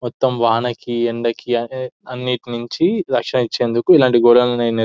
మొత్తం వానకి ఎండకి అన్నిటి నుంచి రక్షణ తెచ్చేందుకు ఇలాంటి ఈ గోడలని నిర్ --